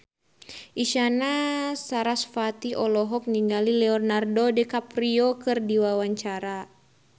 Isyana Sarasvati olohok ningali Leonardo DiCaprio keur diwawancara